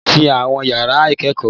Wọ́n ti àwọn ìyàrá ìkẹ́kọ̀ọ́.